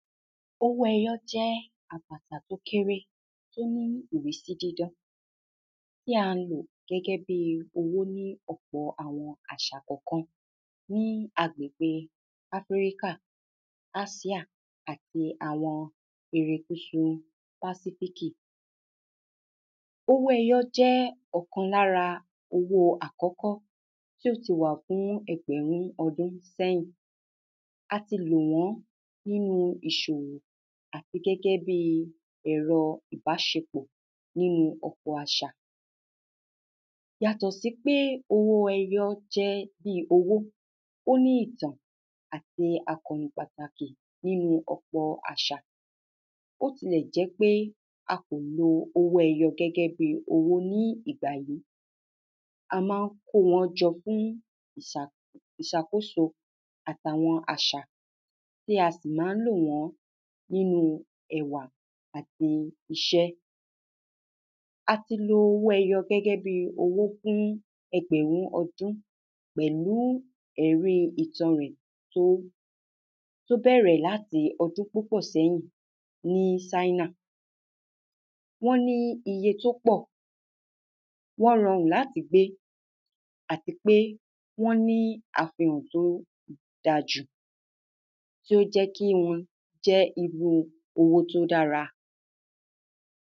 owó ẹyọ jẹ́ àpàtà tó kéré tó ní ìrísí dídán tí a lò gẹ́gẹ́ bí owó ní ọ̀pọ̀ àwọn àṣà kànkan ní agbègbè áfíríkà, ásíà àti àwọn? pàsífíkì owó ẹyọ jẹ́ ọ̀kan lára owó àkọ́kọ́ tí ó ti wà fún ẹgbẹ̀rún ọdún sẹ́yìn ati lò wọ́n nínú ìṣòwò àti gẹ́gẹ́ bí ẹ̀rọ ìbáṣepọ̀ nínu ọ̀pọ̀ àṣà yàtọ̀ sí pé owó ẹyọ jẹ́ owó, ó ní ìtàn àti àkọ̀nì pàtàkì nínú ọ̀pọ̀ àṣà bótilẹ̀ jẹ́ pé akò lo owó ẹyọ gẹ́gẹ́ bí owó ní ìgbà yí a máa ń kó wọn jọ fún ìṣàkóso àtàwọn àṣà tí a sì máa ń lò wọ́n nínú ẹwà àti iṣẹ́ ati lo owó ẹyọ gẹ́gẹ́ bí owó fún ẹgbẹ̀rún ọdún pẹ̀lú ẹ̀rí ìtàn rẹ̀ tó bẹ̀rẹ̀ láti ọdún púpọ̀ sẹ́yìn ní ṣáínà wọ́n ní iye tó pọ̀, wọ́n rọrùn láti gbé àti pé wọ́n ní àfihàn tó ga jù tó jẹ́ kí wọn jẹ́ irú owó tó dára